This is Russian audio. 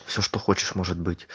всё что хочешь может быть